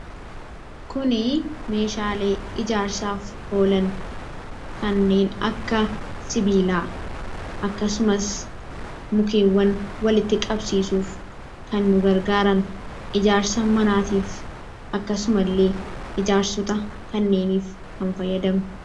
Kun meeshaalee ijaarsaaf oolan kan akka sibiilaa akkasumas mukkeen walitti qabsiisuuf kan nugargaaran, ijaarsa manaatiif akkasumallee ijaarsota kanneenif kan fayyadani.